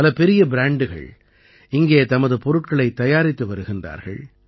பல பெரிய ப்ராண்டுகள் இங்கே தமது பொருட்களைத் தயாரித்து வருகின்றார்கள்